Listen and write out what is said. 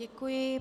Děkuji.